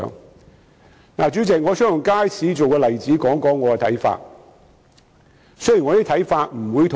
代理主席，我想以街市為例來說說我的看法。